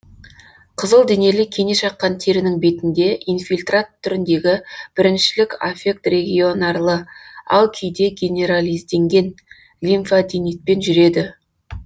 қызылденелі кене шаққан терінің бетінде инфильтрат түріндегі біріншілік аффект регионарлы ал кейде генерализденген лимфаденитпен жүреді